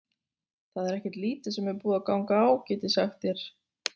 Það er ekkert lítið sem er búið að ganga á, get ég sagt þér.